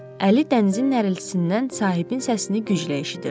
Əli dənizin nəriltisindən sahibinin səsini güclə eşidirdi.